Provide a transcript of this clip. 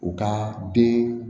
U ka den